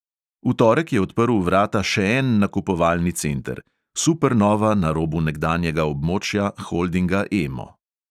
V torek je odprl vrata še en nakupovalni center – supernova na robu nekdanjega območja holdinga emo.